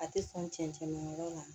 A tɛ sɔn cɛncɛn ma yɔrɔ la